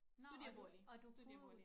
Studiebolig studiebolig